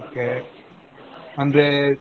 Okay ಅಂದ್ರೇ.